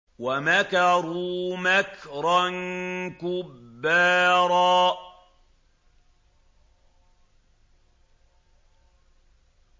وَمَكَرُوا مَكْرًا كُبَّارًا